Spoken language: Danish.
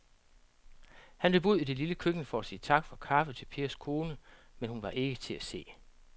Han løb ud i det lille køkken for at sige tak for kaffe til Pers kone, men hun var ikke til at se.